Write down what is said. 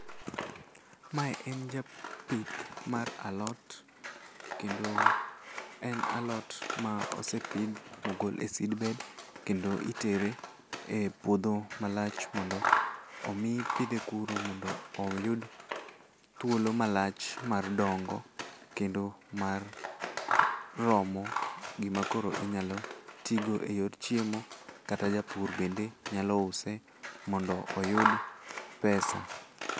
Mae en japith mar alot, kendo en alot ma osepidh mogol e seed bed kendo itere e puodho malach mondo omi pidhe kuro mondo oyud thuolo malach mar dongo kendo mar romo gima koro inyalo tigo e yor chiemo kata japur bende nyalo use mondo oyud pesa.